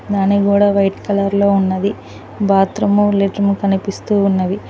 అలానే అది కూడా వైట్ కలర్ లో ఉన్నది బాత్రూము లెట్రిము కనిపిస్తూ ఉన్నది.